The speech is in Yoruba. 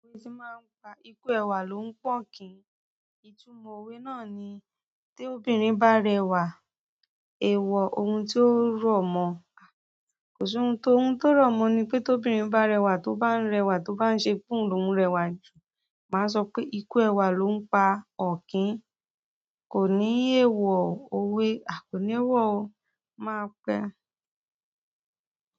Òwe ti máa pa ikú ẹwà ló ń pọ́n kìn-ín. Ìtumọ̀ òwe náà ni, tí obìnrin bá rẹwà, èèwọ̀ ohun tí ó rọ̀ mọ́. Kò sí ohun tí ó rọ̀ mọ́ ni pé tí obìnrin bá rẹwà tó bá ń rẹwà tó bá ń ṣe pọ́nlòun rẹwà jù, màá sọ pé ikú ẹwà ló ń pa ọ̀kín. Kò ní èèwọ̀ òwe, à kóni èèwọ̀ o. Màá pẹ́.